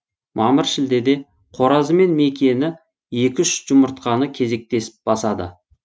мамыр шілдеде қоразы мен мекені екі үш жұмыртқаны кезектесіп басады